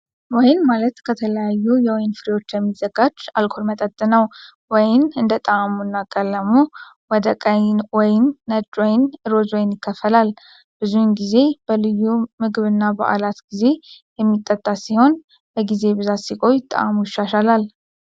ወይን ማለት ከተለያዩ የወይን ፍሬዎች የሚዘጋጅ አልኮል መጠጥ ነው። ወይን እንደ ጣዕሙና ቀለሙ ወደ ቀይ ወይን፣ ነጭ ወይንና ሮዝ ወይን ይከፈላል። ብዙውን ጊዜ በልዩ ምግብና በዓላት ጊዜ የሚጠጣ ሲሆን፣ በጊዜ ብዛት ሲቆይ ጣዕሙ ይሻሻላል።